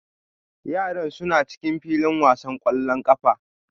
Yaran suna cikin filin wasan ƙwallon ƙafa